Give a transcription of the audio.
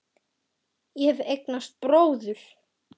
Ég hef eignast bróður.